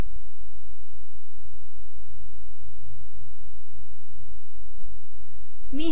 मी हे संकलित केल्यावर मला डॉलर चिन्ह काढून टाकूया